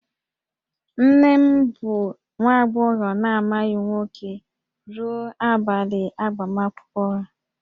Nne m bụ nwa agbọghọ na-amaghị nwoke ruo abalị agbamakwụkwọ ya